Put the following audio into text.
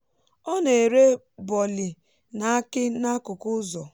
ọ na-ere boli na aki n’akụkụ ụzọ.